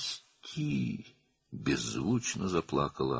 "Burax!" – səssizcə ağladı o.